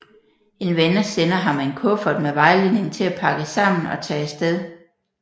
En ven sender ham en kuffert med vejledning til at pakke sammen og tage afsted